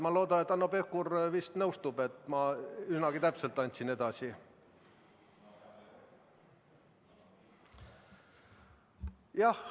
Ma loodan, et Hanno Pevkur nõustub, et ma üsnagi täpselt andsin asja sisu edasi.